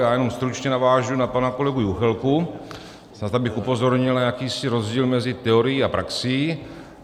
Já jenom stručně navážu na pana kolegu Juchelku, snad abych upozornil na jakýsi rozdíl mezi teorií a praxí.